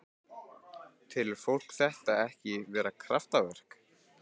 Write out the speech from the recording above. Karen Kjartansdóttir: Telur fólk þetta ekki vera kraftaverk?